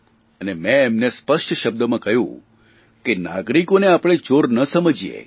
અને મેં એમને સ્પષ્ટ શબ્દોમાં કહ્યું કે નાગરિકોને આપણે ચોર ના સમજીએ